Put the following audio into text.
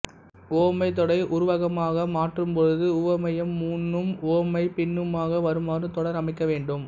உவமைத்தொடரை உருவகமாக மாற்றும்பொழுது உவமேயம் முன்னும் உவமை பின்னுமாக வருமாறு தொடர் அமைக்கவேண்டும்